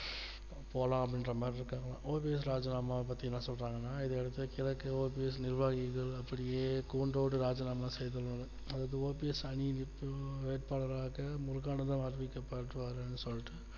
போலாம் அப்படின்ற மாதிரி இருக்காங்க OPS ராஜினாமாவ பத்தி என்ன சொல்றாங்கன்னா இதுவரைக்கும் கிழக்கு OPS நிர்வாகிகள் அப்படியே கூண்டோடு ராஜினாமா செய்திடலாம் அதுக்கு OPS அணியில் நிற்கும் வேட்பாளராக முருகானந்தம் அறிவிக்கப்படுவார் அப்படின்னு சொல்ட்டு